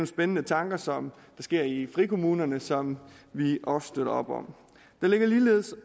spændende tanker som er i frikommunerne og som vi også støtter op om der lægges ligeledes